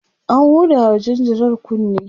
an hudawa jinjirar kunne